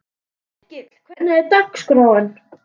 Yrkill, hvernig er dagskráin?